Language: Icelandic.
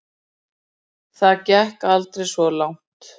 Það gekk aldrei svo langt.